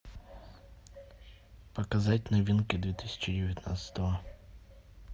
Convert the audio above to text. показать новинки две тысячи девятнадцатого